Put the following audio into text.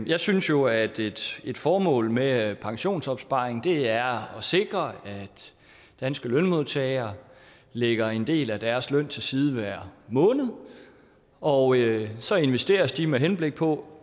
jeg synes jo at et formål med pensionsopsparing er at sikre at danske lønmodtagere lægger en del af deres løn til side hver måned og så investeres det med henblik på